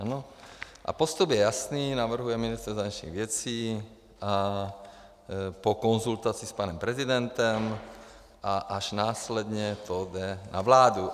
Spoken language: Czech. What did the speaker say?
A postup je jasný, navrhuje ministr zahraničních věcí a po konzultaci s panem prezidentem a až následně to jde na vládu.